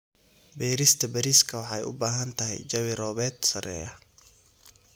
Beerista bariiska waxay u baahan tahay jawi roobeed sarreeya.